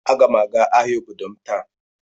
Aga m aga ahịa obodo m taa.